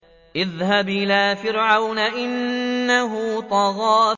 اذْهَبْ إِلَىٰ فِرْعَوْنَ إِنَّهُ طَغَىٰ